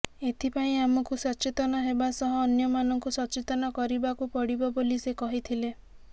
ଏଥିପାଇଁ ଆମକୁ ସେଚତନ ହେବା ସହ ଅନ୍ୟମାନଙ୍କୁ ସଚେତନ କରିବାକୁ ପଡ଼ିବ ବୋଲି ସେ କହିଥିଲେ